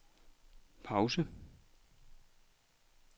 pause